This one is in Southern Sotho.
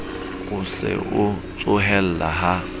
o se a tsohella ha